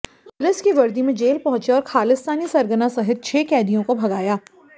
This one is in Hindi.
पुलिस की वर्दी में जेल पहुंचे और खालिस्तानी सरगना सहित छह कैदियों को भगाया